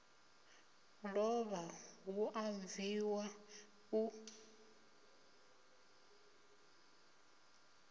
lovha hu a bviwa u